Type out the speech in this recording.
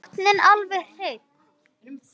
Botninn alveg hreinn.